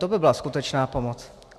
To by byla skutečná pomoc.